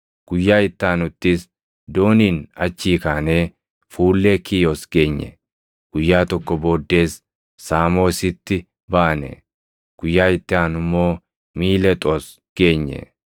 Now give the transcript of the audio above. Guyyaa itti aanuttis dooniin achii kaanee fuullee Kiiyos geenye; guyyaa tokko booddees Saamoositti baane; guyyaa itti aanu immoo Miilexoos geenye.